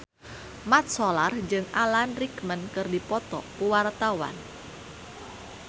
Mat Solar jeung Alan Rickman keur dipoto ku wartawan